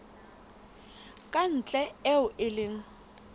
ka ntle eo e leng